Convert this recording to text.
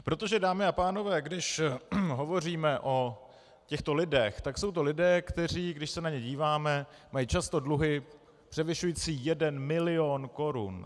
Protože, dámy a pánové, když hovoříme o těchto lidech, tak jsou to lidé, kteří, když se na ně díváme, mají často dluhy převyšující jeden milion korun.